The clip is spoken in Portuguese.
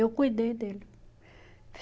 Eu cuidei dele.